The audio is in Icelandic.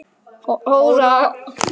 Honum er mikils virði að fá að segja það.